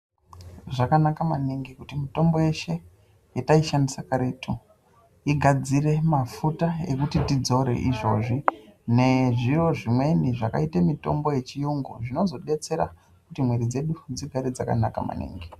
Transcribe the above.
Zvakanaka maningi kuti mitombo yeshe yataishandisa karetu igadzire mafuta ekuti tidzore izvozvi nezviro zvimweni zvakaite mitombo yechiyungu zvinozobetsera kuti muwiri dzedu dzigare dzakanaka maningi.